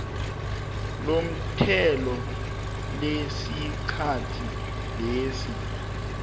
lomthelo lesikhathi lesi